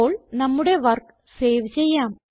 ഇപ്പോൾ നമ്മുടെ work save ചെയ്യാം